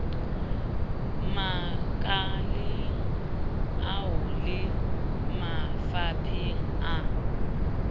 makaleng ao le mafapheng a